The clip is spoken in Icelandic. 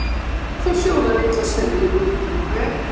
Láttu þá sjóða litla stund í luktum hver,